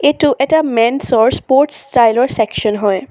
এইটো এটা men's sports ষ্টাইলৰ চেকচন হয়।